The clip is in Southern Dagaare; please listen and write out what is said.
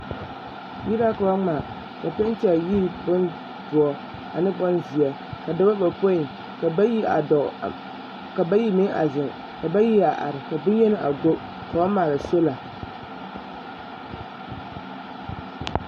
Yiri la ka ba ŋmaa a penti a yiri bondoɔ ane bonzeɛ dɔba bayopoi ka bayi a dɔɔ ka bayi meŋ a zeŋ ka bayi a are ka bonyeni a go ka ba maala solar.